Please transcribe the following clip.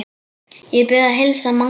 Ég bið að heilsa Manga!